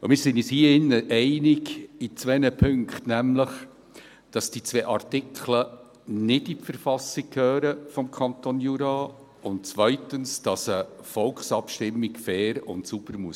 Wir sind uns hier drin in zwei Punkten einig, nämlich, dass die beiden Artikel nicht in die Verfassung des Kantons Jura gehören, und zweitens, dass eine Volksabstimmung sauber und fair laufen muss.